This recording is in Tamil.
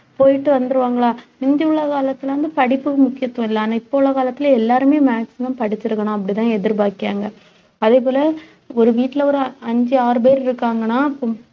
போயிட்டு வந்துருவாங்களா முந்தி உள்ள காலத்துல இருந்து படிப்புக்கு முக்கியத்துவம் இல்லை ஆனா இப்ப உள்ள காலத்துல எல்லாருமே maximum படிச்சிருக்கணும் அப்படித்தான் எதிர்பார்க்கிறாங்க அதே போல ஒரு வீட்ல ஒரு அஞ்சு ஆறு பேர் இருக்காங்கன்னா பொம்~